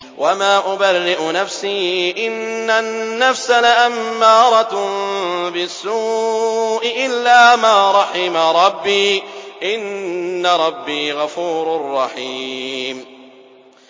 ۞ وَمَا أُبَرِّئُ نَفْسِي ۚ إِنَّ النَّفْسَ لَأَمَّارَةٌ بِالسُّوءِ إِلَّا مَا رَحِمَ رَبِّي ۚ إِنَّ رَبِّي غَفُورٌ رَّحِيمٌ